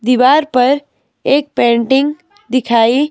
दीवार पर एक पेंटिंग दिखाई--